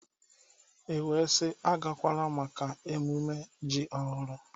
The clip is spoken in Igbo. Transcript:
E wee sị, agakwala maka ememme ji ọhụrụ!